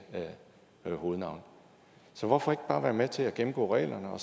hovednavne så hvorfor ikke bare være med til at gennemgå reglerne og